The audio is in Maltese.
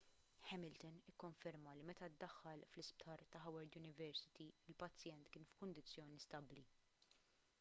hamilton ikkonferma li meta ddaħħal fl-isptar ta' howard university il-pazjent kien f'kundizzjoni stabbli